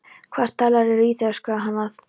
Hvaða stælar eru í þér? öskraði hann að